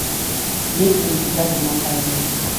есть ли у тебя туман войны